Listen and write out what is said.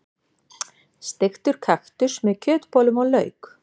Steiktur kaktus með kjötbollum og lauk.